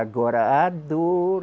Agora a dor.